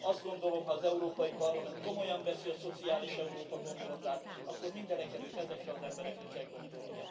Azt gondolom, ha az Európai Parlament komolyan veszi a szociális Európa gondolatát, akkor mindenekelőtt ezekre az emberekre kell gondolnia.